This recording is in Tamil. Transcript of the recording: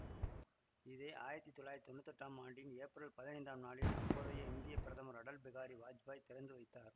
இதை ஆயிரத்தி தொள்ளாயிரத்தி தொன்னூத்தி எட்டாம் ஆண்டின் ஏப்ரல் பதினைந்தாம் நாளில் அப்போதைய இந்திய பிரதமர் அடல் பிகாரி வாச்பாய் திறந்து வைத்தார்